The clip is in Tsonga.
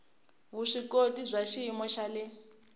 vuswikoti bya xiyimo xa le